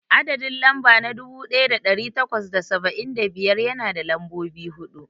Adadin lamɓa na dubu daya dari takwas da saba'in da biyar yana da lambobi hudu.